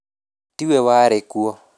Ti we warĩ kuo